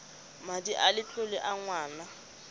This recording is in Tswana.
madi a letlole a ngwana